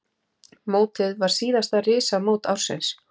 Mótið var síðasta risamót ársins.